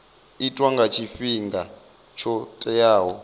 itwa nga tshifhinga tsho teaho